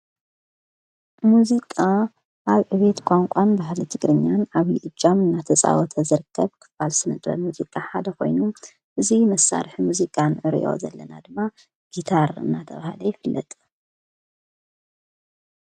ሙዚቃ ኣብ ዕቤት ቛንቋን ባህሊ ትግርኛን ኣብዪ እጃም እናተፃወተዘርከብ ክፋል ስንጥበት ሙዚቃ ሓደ ኾይኑ እዙይ መሳርሕ ሙዚቃን እርእዮ ዘለና ድማ ጊታር እናተብሃለ ይፍለጠ።